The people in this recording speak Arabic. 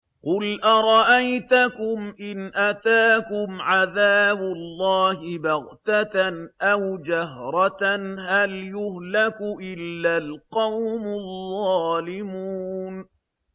قُلْ أَرَأَيْتَكُمْ إِنْ أَتَاكُمْ عَذَابُ اللَّهِ بَغْتَةً أَوْ جَهْرَةً هَلْ يُهْلَكُ إِلَّا الْقَوْمُ الظَّالِمُونَ